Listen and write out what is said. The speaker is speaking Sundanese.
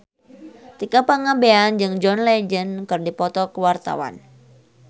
Tika Pangabean jeung John Legend keur dipoto ku wartawan